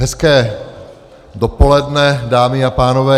Hezké dopoledne dámy a pánové.